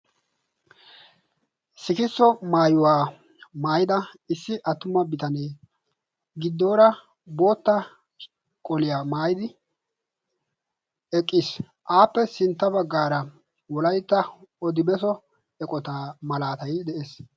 sikisso maayuwa maayida issi attuma bitanee, gidoora bootta qoliya maayidi eqqis, appe sinta bagaara wolaytta odibessa eqotaa malaatay eqqis.